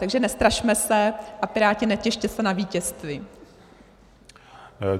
Takže nestrašme se a Piráti, netěšte se na vítězství.